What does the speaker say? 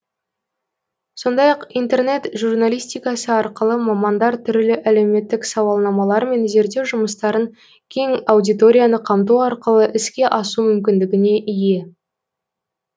сондай ақ интернет журналистикасы арқылы мамандар түрлі әлеуметтік сауалнамалар мен зерттеу жұмыстарын кең аудиторияны қамту арқылы іске асу мүмкіндігіне ие